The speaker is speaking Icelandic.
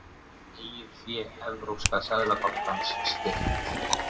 Eigið fé Evrópska seðlabankans styrkt